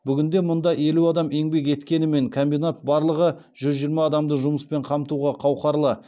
бүгінде мұнда елу адам еңбек еткенімен комбинат барлығы жүз жиырма адамды жұмыспен қамтуға қауқарлы